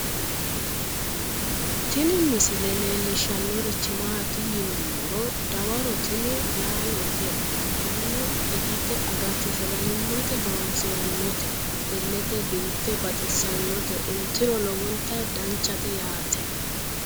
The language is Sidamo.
Tini misile leellishshannorichi maati yinummoro dawaro tini laalote mannu itate agate sagalimmate horoonsirannote illete biiffe baxissannote intiro lowonta danchate yaate